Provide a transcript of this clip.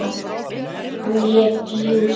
Hann lét jú SEXUNA.